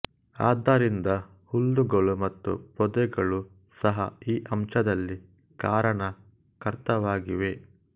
ಆದ್ದರಿಂದ ಹುಲ್ಲುಗಳು ಮತ್ತು ಪೊದೆಗಳು ಸಹ ಈ ಅಂಶದಲ್ಲಿ ಕಾರಣಕರ್ತವಾಗಿವೆ